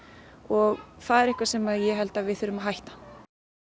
og það er eitthvað sem ég held að við þurfum að hætta